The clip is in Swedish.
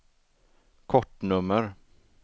kortnummer